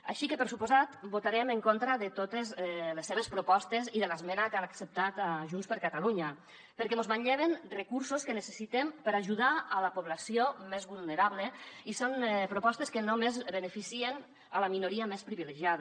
així que per descomptat votarem en contra de totes les seves propostes i de l’esmena que han acceptat a junts per catalunya perquè mos manlleven recursos que necessitem per a ajudar la població més vulnerable i són propostes que només beneficien la minoria més privilegiada